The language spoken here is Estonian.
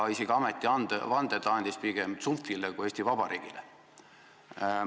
Isegi ametivande andis ta pigem tsunftile kui Eesti Vabariigile.